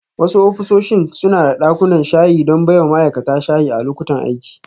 Wasu ofisoshin suna da dakunan shayi don baiwa ma'aikata shayi a lokutan aiki.